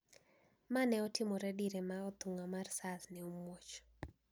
Ma ne otimore dire ma athung`a mar Sars ne omuoch